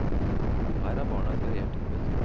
Her har barna et variert tilbud.